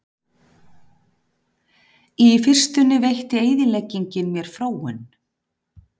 Í fyrstunni veitti eyðileggingin mér fróun.